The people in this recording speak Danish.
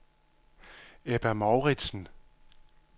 Ebba Mouritsen